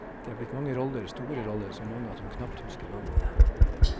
Det er blitt mange roller, store roller, så mange at hun knapt husker navnene.